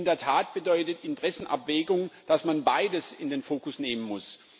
Denn in der Tat bedeutet Interessenabwägung, dass man beides in den Fokus nehmen muss.